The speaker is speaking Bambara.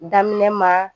Daminɛ ma